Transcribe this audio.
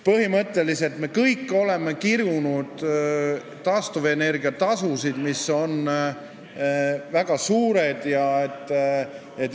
Põhimõtteliselt me kõik oleme kirunud taastuvenergia tasusid, mis on väga suured.